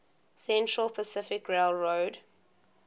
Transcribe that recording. central pacific railroad